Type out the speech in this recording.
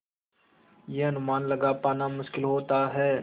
यह अनुमान लगा पाना मुश्किल होता है